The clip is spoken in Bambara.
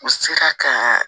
U sela ka